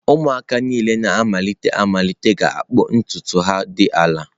Ụmụaka niile na-amalite amalite ga-akpụ ntutu ha dị ala.